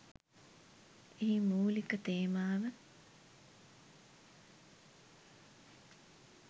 එහි මූළික තේමාව